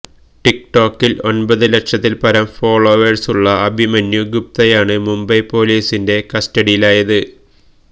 tick ടോക്കില് ഒന്പത് ലക്ഷത്തില് പരം ഫോളോവേഴ്സുള്ള അഭിമന്യു ഗുപ്തയാണ് മുംബൈ പോലീസിന്റെ കസ്റ്റഡിയിലായത്